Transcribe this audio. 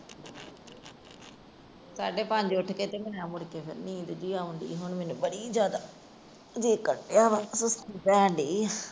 ਸਾਡੇ ਪੰਜ ਉੱਠ ਕੇ ਹੁਣ ਮੈਨੂੰ ਨੀਂਦ ਜੀ ਆਉਣਾ ਰਹੀ ਏ ਬੜੀ ਜਿਆਦਾ।